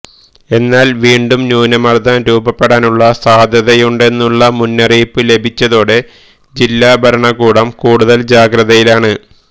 എന്നാല് വീണ്ടും ന്യൂനമര്ദ്ദം രൂപപ്പെടാനുള്ള സാധ്യയുണ്ടെന്നുള്ള മുന്നറിയിപ്പ് ലഭിച്ചതോടെ ജില്ലാഭരണകൂടും കൂടുതല് ജാഗ്രതയിലാണ്